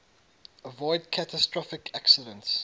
avoid catastrophic accidents